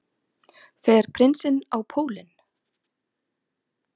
Fer prinsinn á pólinn